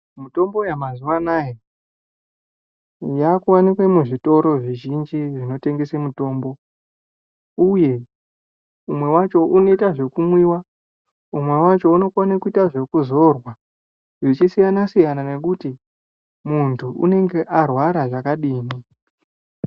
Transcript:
Mitombo yamazuva ano yakuwanikwe muzvitoro zvizhinji zvinotengese mitombo uye umwe wacho unoite zvekumwiwa umwe wacho unogone kuita zvekuzorwa, zvichisiyana-siyana ngekuti muntu unenge warwara zvakadini.